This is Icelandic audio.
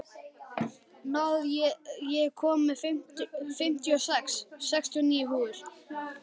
Náð, ég kom með fimmtíu og sex húfur!